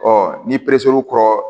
ni kɔrɔ